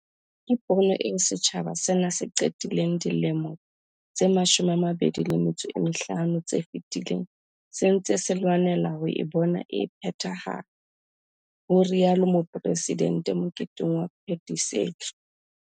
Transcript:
"Ke pono eo setjhaba sena se qetileng dilemo tse 25 tse fetileng se ntse se lwanela ho e bona e phethahala," ho rialo Mopresidente moketeng wa phetisetso.